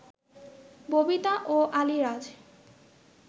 ববিতা ও আলীরাজ